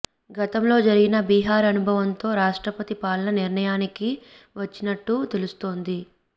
గతంలో జరిగిన బీహార్ అనుభవంతో రాష్ట్రపతి పాలన నిర్ణయానికి వచ్చినట్టు తెలుస్తోంది